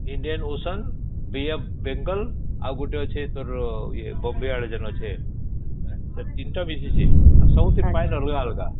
Indian Ocean Bay of Bengal ଆଉ ଗୋଟେ ଅଛେ ତୋର Bombay ଆଡେ ଯେଣେ ଅଛେ ସେ ତିନ ତା ମିଶଇଛେ ଆଉ ସବୁ ର ପାଣି ଅଲଗା ଅଲଗା